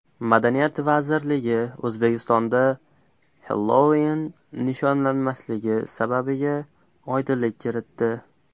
Madaniyat vazirligi O‘zbekistonda Xellouin nishonlanmasligi sababiga oydinlik kiritdi.